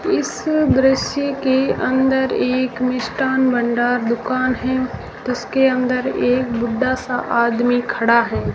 इस दृश्य के अंदर एक मिष्ठान भंडार दुकान है जिसके अंदर एक बुड्ढा सा आदमी खड़ा है।